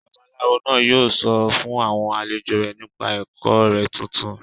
Babaláwo náà yóò sọ fún àwọn àlejò rẹ̀ nípa ẹ̀kọ́ rẹ̀ tuntun